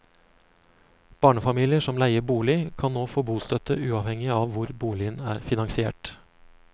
Barnefamilier som leier bolig, kan nå få bostøtte uavhengig av hvor boligen er finansiert.